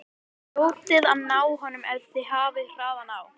Þið hljótið að ná honum ef þið hafið hraðan á.